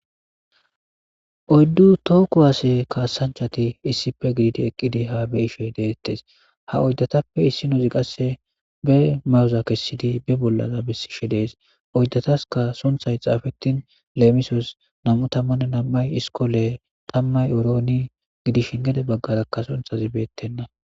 oyddu tooku waase kaasanchati issife gididi eqqidi haa be ishey deettes ha oyddatappe issi nozi qasse be mawuza kessidi be bollaza bessishe dees oydataska sunthay xaafetin leemisos nam7u tammanne nam7ay iskole tammay orooni gidishin gede baggarakka sunthazi beettenna